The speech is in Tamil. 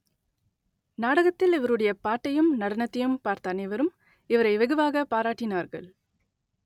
நாடகத்தில் இவருடைய பாட்டையும் நடனத்தையும் பார்த்த அனைவரும் இவரை வெகுவாகப் பாராட்டினார்கள்